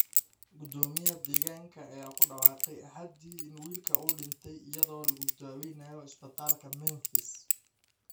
Gudoomiyaha deegaanka ayaa ku dhawaaqay Axadii in wiilka uu dhintay iyadoo lagu daweynayo isbitaalka Memphis.